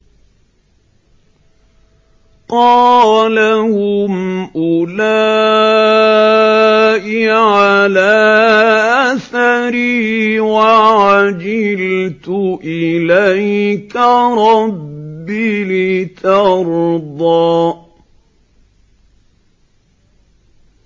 قَالَ هُمْ أُولَاءِ عَلَىٰ أَثَرِي وَعَجِلْتُ إِلَيْكَ رَبِّ لِتَرْضَىٰ